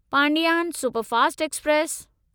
Pandian superfast express